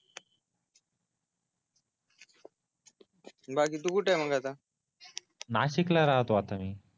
बाकी तू कुठे आहे मग आता नाशिक ला राहतो आता मी